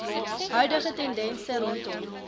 huidige tendense rondom